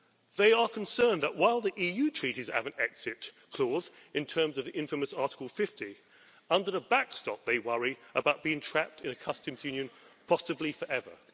They are concerned that while the EU treaties have an exit clause in terms of the infamous Article 50, under the backstop they worry about being trapped in a customs union, possibly forever.